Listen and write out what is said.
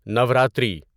Navratri